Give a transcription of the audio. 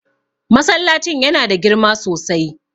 Masallacin yana da girma sosai.